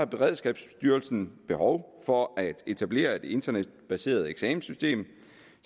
beredskabsstyrelsen behov for at etablere et internetbaseret eksamenssystem